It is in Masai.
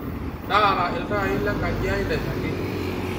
taara iltaai lenkaji ai nairagi